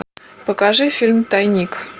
покажи фильм тайник